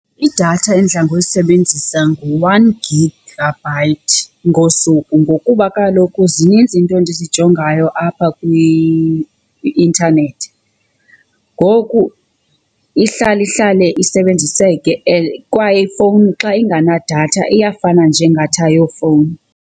Idatha endidla ngoyisebenzisa ngu-one gigabyte ngosuku ngokuba kaloku zininzi iinto endizijongayo apha kwi-intanethi. Ngoku ihlala ihlale isebenziseke and kwaye ifowuni xa ingenadatha iyafana nje ingathi ayiyo fowuni.